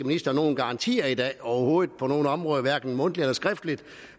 ministeren nogen garantier i dag overhovedet ikke på nogen områder og hverken mundtligt eller skriftligt